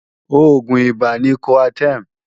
Oògùn ibà ni Coartem